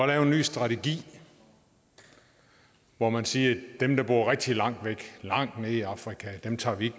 lave en ny strategi hvor man siger at dem der bor rigtig langt væk langt nede i afrika tager vi